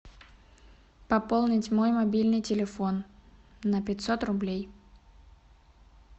пополнить мой мобильный телефон на пятьсот рублей